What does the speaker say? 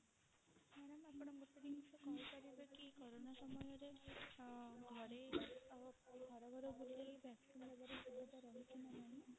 madam ଆପଣ ଗୋଟେ ଜିନିଷ କହି ପାରିବେ କି କୋରୋନା ସମୟରେ ଘରେ ଘର ଘର ବୁଲି